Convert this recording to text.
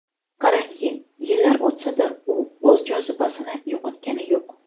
Qarangki, yillar o‘tsa-da, u o‘z jozibasini yo‘qotgani yo‘q.